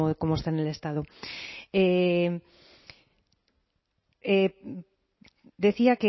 como está en el estado decía